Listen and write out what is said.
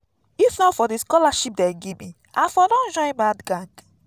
if not for the scholarship dey give me i for don join bad gang